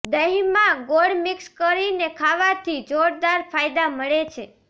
દહીંમાં ગોળ મિક્સ કરીને ખાવાથી જોરદાર ફાયદા મળે છે